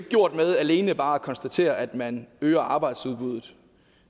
gjort med alene bare at konstatere at man øger arbejdsudbudet